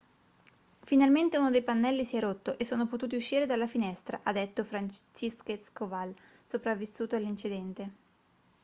finalmente uno dei pannelli si è rotto e sono potuti uscire dalla finestra ha detto franciszek kowal sopravvissuto all'incidente